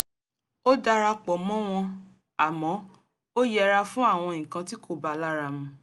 ó dara pọ̀ mọ́ wọn àmọ́ ó yẹra fún àwọn nǹkan tí kò ba lárá mu